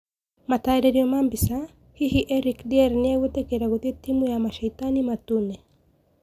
Mataririo ma mbica, Hihi Eric Dier nieguitikira gũthii timu ya Masheitani matune ?